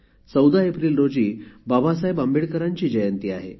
१४ एप्रिल रोजी बाबासाहेब आंबेडकरांची जयंती आहे